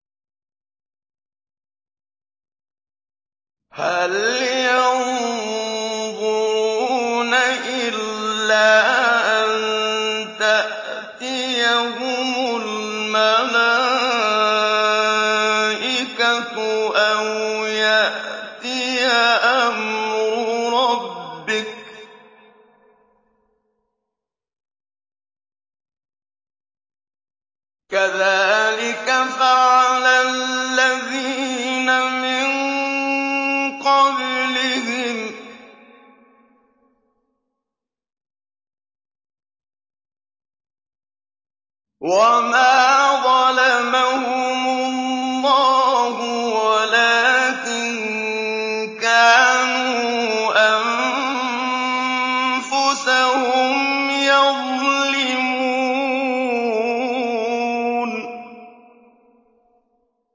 هَلْ يَنظُرُونَ إِلَّا أَن تَأْتِيَهُمُ الْمَلَائِكَةُ أَوْ يَأْتِيَ أَمْرُ رَبِّكَ ۚ كَذَٰلِكَ فَعَلَ الَّذِينَ مِن قَبْلِهِمْ ۚ وَمَا ظَلَمَهُمُ اللَّهُ وَلَٰكِن كَانُوا أَنفُسَهُمْ يَظْلِمُونَ